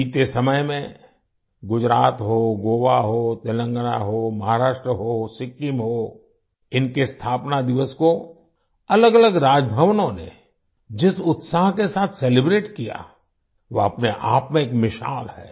बीते समय में गुजरात हो गोवा हो तेलंगाना हो महाराष्ट्र हो सिक्किम हो इनके स्थापना दिवस को अलगअलग राजभवनों ने जिस उत्साह के साथ सेलिब्रेट किया वह अपने आप में एक मिसाल है